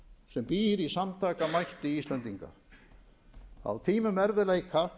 sem býr í samtakamætti íslendinga að á tímum erfiðleika